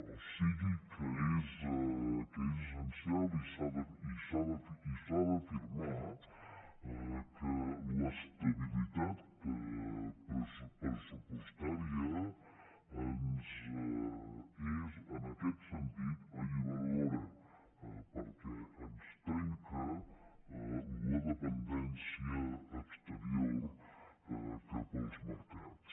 o sigui que és essencial i s’ha d’afirmar que l’estabilitat pressupostària és en aquest sentit alliberadora perquè ens trenca la dependència exterior cap als mercats